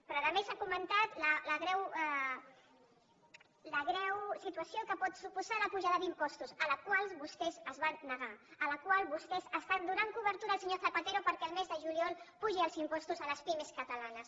però a més s’ha comentat la greu situació que pot suposar l’apujada d’impostos a la qual vostès es van negar a la qual vostès estan donant cobertura al senyor zapatero perquè el mes de juliol apugi els impostos a les pimes catalanes